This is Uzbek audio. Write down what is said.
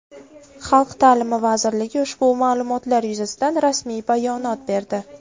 Xalq ta’limi vazirligi ushbu ma’lumotlar yuzasidan rasmiy bayonot berdi .